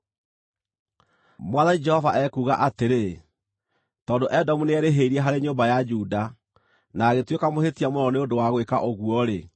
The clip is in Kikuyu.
“Mwathani Jehova ekuuga atĩrĩ: ‘Tondũ Edomu nĩerĩhĩirie harĩ nyũmba ya Juda na agĩtuĩka mũhĩtia mũno nĩ ũndũ wa gwĩka ũguo-rĩ,